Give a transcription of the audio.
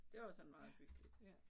Det var sådan meget hyggeligt